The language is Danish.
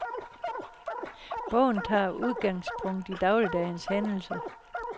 Bogen tager udgangspunkt i dagligdagens hændelser.